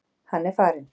Hann er farinn.